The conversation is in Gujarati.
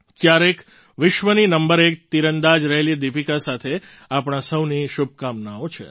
ક્યારેક વિશ્વની નંબર એક તીરંદાજ રહેલી દીપિકા સાથે આપણા સહુની શુભકામનાઓ છે